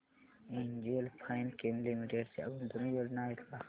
NGL Finechem limited च्या गुंतवणूक योजना आहेत का